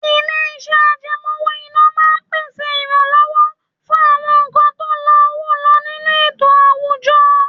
Ilé-iṣẹ́ àjẹmó owó-ìná máa ń pèsè ìrànlọ́wọ́ fún àwọn nǹkan tó la owó lọ nínú ètò àwùjọ.